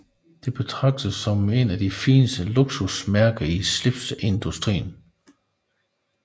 Det betragtes som et af de fineste luksusmærker i slipseindustrien